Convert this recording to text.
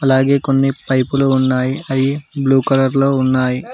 అలాగే కొన్ని పైపులు ఉన్నాయి అవి బ్లూ కలర్ లో ఉన్నాయి.